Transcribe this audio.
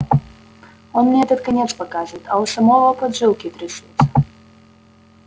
он мне этот конец показывает а у самого поджилки трясутся